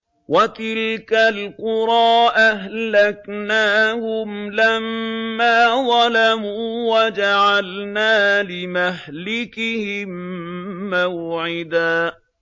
وَتِلْكَ الْقُرَىٰ أَهْلَكْنَاهُمْ لَمَّا ظَلَمُوا وَجَعَلْنَا لِمَهْلِكِهِم مَّوْعِدًا